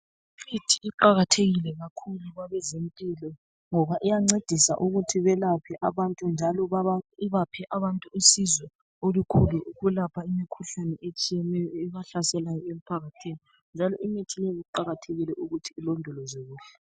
Imithi iqakathekile kakhulu kwabezempilo ngoba iyancedisa ukuthi belaphe abantu, njalo baba ibaphe abantu usizo olukhulu ukwelapha imikhuhlane etshiyeneyo ebahlaselayo emphakathini njalo imithi le kuqakathekile ukuthi ilondolozwe kuhle.